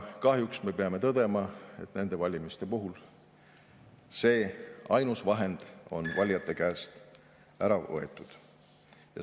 Kahjuks me peame tõdema, et nende valimiste puhul see ainus vahend on valijate käest ära võetud.